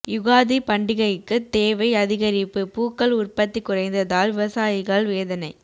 யுகாதி பண்டிகைக்கு தேவை அதிகரிப்பு பூக்கள் உற்பத்தி குறைந்ததால் விவசாயிகள் வேதனை